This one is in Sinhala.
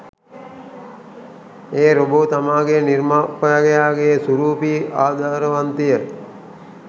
ඒ රොබෝ තමාගේ නිර්මාපකයාගේ සුරූපී ආදරවන්තිය